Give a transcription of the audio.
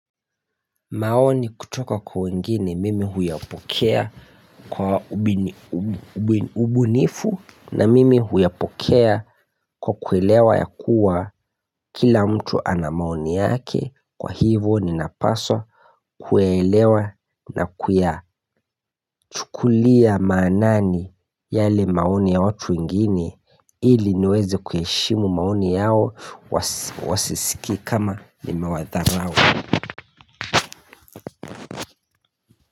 Maoni kutoka kwa wengine mimi huyapokea kwa ubini ubunifu na mimi huyapokea kwa kuelewa ya kuwa kila mtu ana maoni yake kwa hivo ninapaswa kuelewa na kuyachukulia maanani yale maoni ya watu wengine ili niweze kuheshimu maoni yao wasi wasisikie kama nimewadharau.